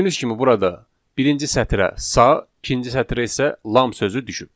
Gördüyünüz kimi burada birinci sətrə sa, ikinci sətrə isə lam sözü düşüb.